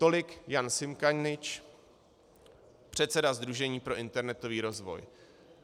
Tolik Ján Simkanič, předseda Sdružení pro internetový rozvoj.